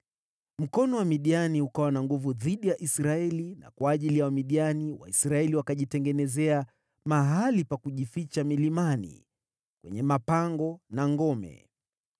Mkono wa Midiani ukawa na nguvu dhidi ya Israeli na kwa ajili ya Wamidiani, Waisraeli wakajitengenezea mahali pa kujificha milimani, kwenye mapango na ngome.